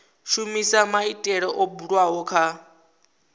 shumisa maitele o bulwaho kha